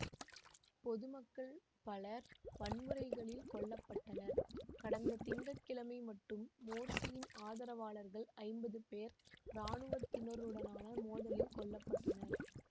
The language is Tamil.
பொதுமக்கள் பலர் வன்முறைகளில் கொல்ல பட்டனர் கடந்த திங்க கிழமை மட்டும் மோர்சியின் ஆதரவாளர்கள் ஐம்பது பேர் இராணுவத்தினருடனான மோதலில் கொல்ல பட்டனர்